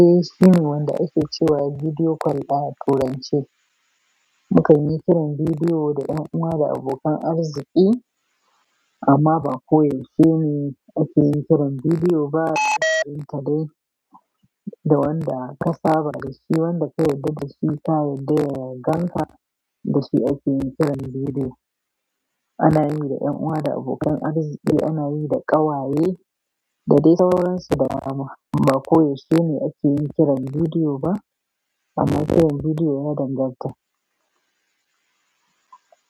Eh, shine wanda ake cewa bidiyo call a turance. Mukan yi kiran bidiyo da 'yan uwa da abokan arziki, amma ba ko yaushe ne ake yin kiran bidiyo ba. Da wanda aka saba da shi, wanda ka yadda da shi ka yarda ya ganka da shi ake yin kiran bidiyo. Ana yi da 'yan uwa da abokan arziki, ana yi da ƙawaye, da dai sauransu da dama. Ba ko yaushe ne ake yi kiran bidiyo ba amma kiran bidiyo yana danganta.